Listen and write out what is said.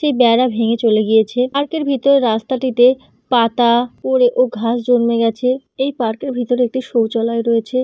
সেই বেড়া ভেঙে চলে গিয়েছে। পার্ক -এর ভেতরে রাস্তাটিতে পাতা পরে ও ঘাস জন্মে গেছে। এই পার্ক -এর ভিতরে একটি শৌচালয় রয়েছে।